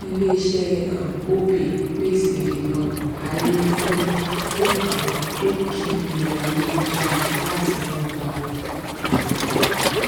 ilé iṣẹ um opay pèsè um àyè fún fún àwọn tó kì í lo ayélujára lati rángba owó um